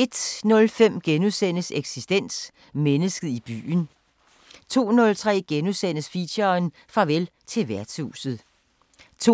01:05: Eksistens: Mennesket i byen * 02:03: Feature: Farvel til værtshuset * 02:30: